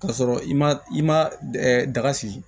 K'a sɔrɔ i ma i ma daga sigi